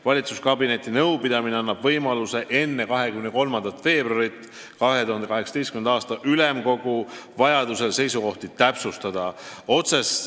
Valitsuskabineti nõupidamine annab võimaluse enne 23. veebruaril toimuvat ülemkogu istungit meie seisukohti täpsustada.